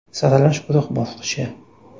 Saralash guruh bosqichi.